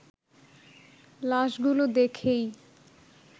লাশগুলো দেখেই